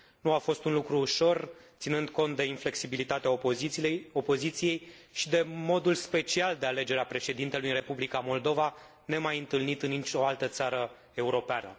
Nu a fost un lucru ușor, ținând cont de inflexibilitatea opoziției și de modul special de alegere a președintelui în Republica Moldova, nemaiîntâlnit în nicio altă țară europeană.